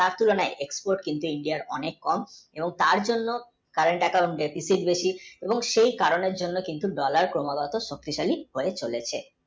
তার তুলনায় কিন্তু export India র খুবই কম এবং তার জন্যে current, account deficit বেশি এবং সেই কারণে কিন্তু dollar ক্রমাগত forcibly বেড়ে চলেছে।